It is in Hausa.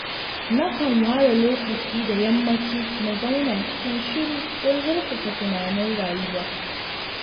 Nakan ware lokaci da yammaci na zauna cikin shiru don zurfafa tunanin rayuwa